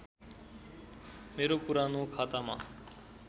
मेरो पुरानो खातामा